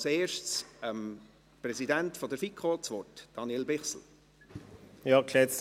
Zuerst gebe ich dem Präsidenten der FiKo, Daniel Bichsel, das Wort.